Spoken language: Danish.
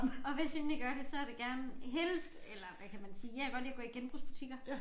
Og hvis jeg endelig gør det så det gerne helst eller hvad kan man sige jeg kan godt lide at gå i genbrugsbutikker